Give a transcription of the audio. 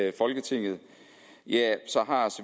i folketinget så